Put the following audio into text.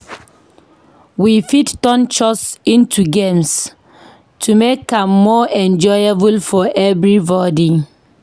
We fit turn chores into games to make am more enjoyable for everybody.